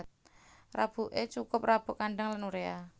Rabuké cukup rabuk kandhang lan uréa